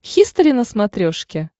хистори на смотрешке